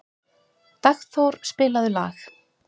Dagþór, spilaðu lag.